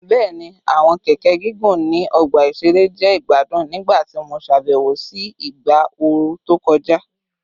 Bẹẹni, awọn keke gigun ni ọgba iṣere jẹ igbadun nigbati mo ṣabẹwo si igba ooru to kọja